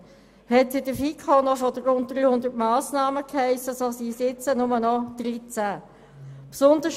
Hiess es in der FiKo noch, es handle sich um rund 300 Massnahmen, so sind es jetzt nur noch deren 13.